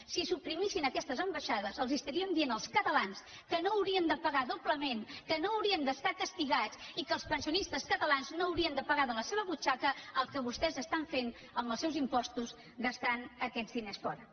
si suprimissin aquestes ambaixades els estaríem dient als catalans que no haurien de pagar doblement que no haurien d’estar castigats i que els pensionistes catalans no haurien de pagar de la seva butxaca el que vostès estan fent amb els seus impostos gastant aquests diners fora